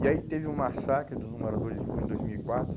E aí teve o massacre dos moradores de rua em dois mil e quatro.